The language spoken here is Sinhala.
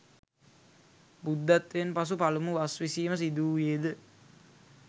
බුද්ධත්වයෙන් පසු පළමු වස් විසීම සිදු වූයේ ද